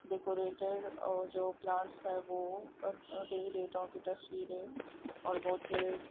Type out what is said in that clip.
decorated और जो plants है वो अ देवी देवताओं की तस्वीरे और बहुत --